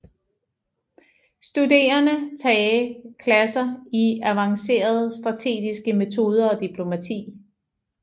Studerende tage klasser i avanceret strategiske metoder og diplomati